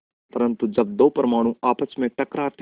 परन्तु जब दो परमाणु आपस में टकराते हैं